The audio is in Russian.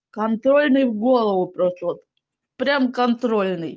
контрольный в голову просто вот прямо контрольный